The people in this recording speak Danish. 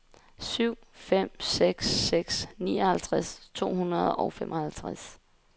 syv fem seks seks nioghalvtreds to hundrede og femoghalvtreds